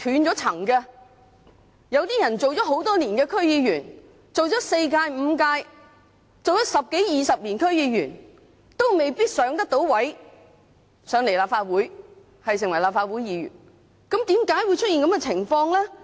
有些區議員做了很多年 ，4 屆、5屆，十多二十年，亦未必可以晉身立法會，成為立法會議員，為甚麼會出現這個情況呢？